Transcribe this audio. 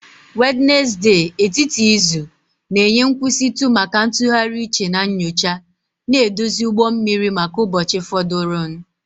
Wednesde, etiti izu, na-enye nkwụsịtụ maka ntụgharị uche na nyocha, na-edozi ụgbọ mmiri maka ụbọchị fọdụrụnụ